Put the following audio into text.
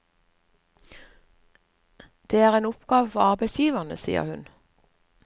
Det er en oppgave for arbeidsgiverne, sier hun.